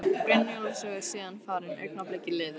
Brynjólfs og er síðan farin, augnablikið liðið.